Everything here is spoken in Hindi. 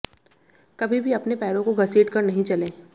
कभी भी अपने पैरों को घसीट कर नहीं चलें